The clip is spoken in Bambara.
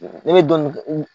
Ne nin dɔ nunnu